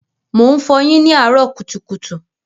Mò ń fọyín ní àárọ́ kùtùkùtù.